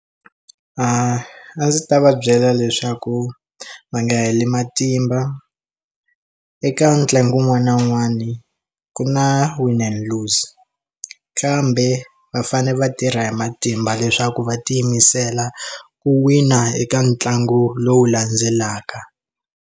A ndzi ta va byela leswaku va nga heli matimba eka ntlangu wun'wana na wun'wana ku na win and lose kambe va fane va tirha hi matimba leswaku va tiyimisela ku wina eka ntlangu lowu landzelaka.